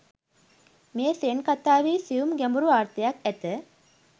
මේ සෙන් කථාවෙහි සියුම් ගැඹුරු අර්ථයක් ඇත.